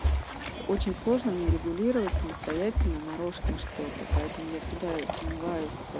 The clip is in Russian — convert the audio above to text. очень сложно мне регулировать самостоятельно нарочно что-то поэтому я всегда сомневаюсь